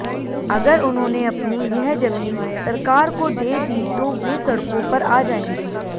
अगर उन्होंने अपनी यह जमीन सरकार को दे दी तो वे सड़कों पर आ जाएंगे